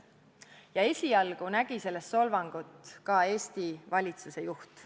Ja esialgu nägi selles solvangut ka Eesti valitsuse juht.